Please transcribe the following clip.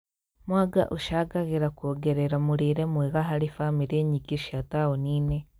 Mwanga ũcangagĩra kuongerera mũrĩre mwega harĩ bamĩrĩ nyingĩ cia taũni-inĩ